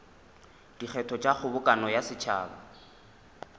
dikgetho tša kgobokano ya setšhaba